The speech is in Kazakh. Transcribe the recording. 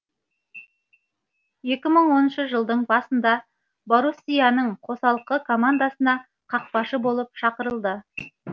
екі мың оныншы жылдың басында боруссияның қосалқы командасына қақпашы болып шақырылды